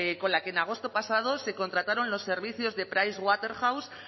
con la que en agosto pasado se contrataron los servicios de pricewaterhouse